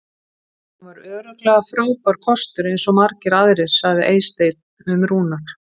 Hann var örugglega frábær kostur eins og margir aðrir sagði Eysteinn um Rúnar.